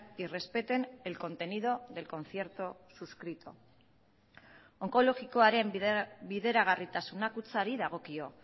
y respeten el contenido del concierto suscrito onkologikoaren bideragarritasuna kutxari dagokio